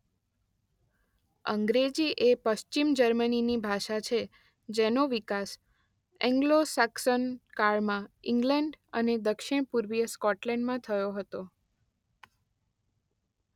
અંગ્રેજી એ પશ્ચિમ જર્મનીની ભાષા છે જેનો વિકાસ એન્ગ્લો સાક્સોન કાળમાં ઇંગ્લેન્ડ અને દક્ષિણ પૂર્વીય સ્કોટલેન્ડમાં થયો હતો.